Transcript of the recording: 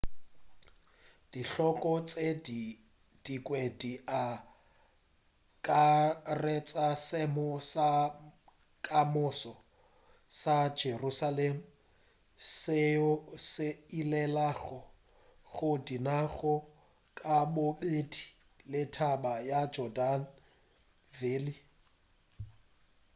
dihlogo tše dingwe di akaretša seemo sa kamoso sa jerusalem seo se ilelago go dinaga kabobedi le taba ya jordan valley